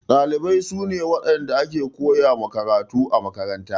Ɗalibai su ne waɗanda ake koya ma karatu a makaranta.